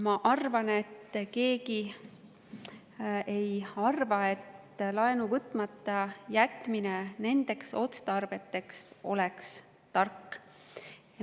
Ma arvan, et keegi ei arva, et laenu võtmata jätmine nendeks otstarveteks oleks tark.